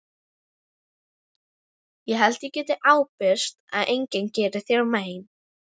Ég held ég geti ábyrgst að enginn geri þér mein.